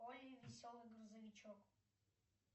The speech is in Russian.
олли веселый грузовичок